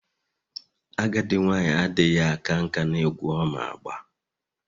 Agadi nwanyi adighi aka nka n'egwu Oma agba...